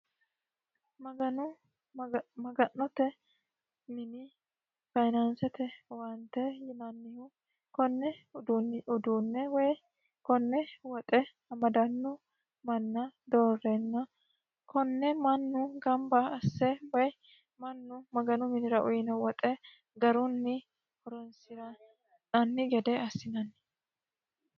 maganu maga'note mini fayinaansete owaante yinannihu konne uduunne woy konne woxe amadannu manna doorrenna konne mannu gamba asse woy mannu maganu minira uyino woxe garunni horonsi'nanni gede assinanni